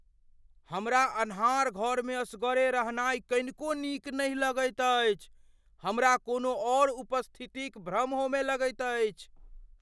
हमरा अन्हार घरमे असगरे रहनाइ कनिको नीक नहि लगैत अछि, हमरा कोनो औऱ उपस्थितिक भ्रम होमय लगैत अछि।